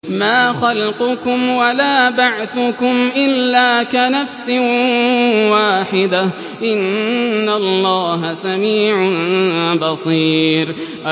مَّا خَلْقُكُمْ وَلَا بَعْثُكُمْ إِلَّا كَنَفْسٍ وَاحِدَةٍ ۗ إِنَّ اللَّهَ سَمِيعٌ بَصِيرٌ